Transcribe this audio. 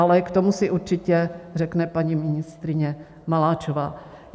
Ale k tomu si určitě řekne paní ministryně Maláčová.